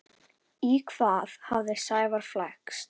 Í hvað hafði Sævar flækst?